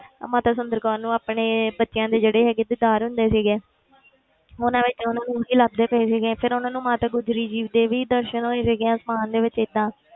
ਅਹ ਮਾਤਾ ਸੁੰਦਰ ਕੌਰ ਨੂੰ ਆਪਣੇ ਬੱਚਿਆਂ ਦੇ ਜਿਹੜੇ ਹੈਗੇ ਦੀਦਾਰ ਹੁੰਦੇ ਸੀਗੇ ਉਹਨਾਂ ਵਿੱਚ ਉਹਨਾਂ ਨੂੰ ਹੀ ਲੱਭਦੇ ਪਏ ਸੀਗੇ ਫਿਰ ਉਹਨਾਂ ਨੂੰ ਮਾਤਾ ਗੁਜਰੀ ਜੀ ਦੇ ਵੀ ਦਰਸ਼ਨ ਹੋਏ ਸੀਗੇ ਅਸਮਾਨ ਦੇ ਵਿੱਚ ਏਦਾਂ